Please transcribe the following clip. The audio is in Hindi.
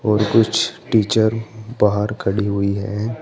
और कुछ टीचर बाहर खड़ी हुई है।